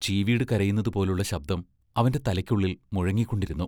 ചീവീടു കരയുന്നതു പോലുള്ള ശബ്ദം അവന്റെ തലയ്ക്കുള്ളിൽ മുഴങ്ങിക്കൊണ്ടിരുന്നു.